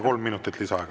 Kolm minutit lisaaega.